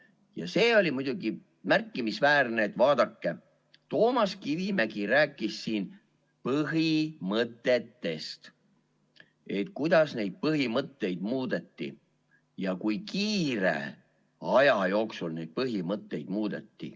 Vaadake, see oli muidugi märkimisväärne, et Toomas Kivimägi rääkis siin põhimõtetest ning sellest, kuidas neid põhimõtteid muudeti ja kui kiire aja jooksul neid põhimõtteid muudeti.